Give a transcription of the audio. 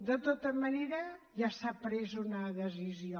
de tota manera ja s’ha pres una decisió